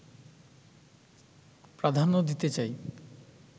প্রাধান্য দিতে চাই